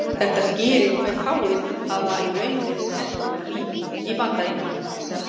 Þetta skýrir hve fáir hafa í raun verið teknir af lífi í Bandaríkjunum.